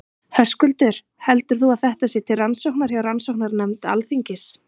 Höskuldur: Heldur þú að þetta sé til rannsóknar hjá rannsóknarnefnd Alþingis?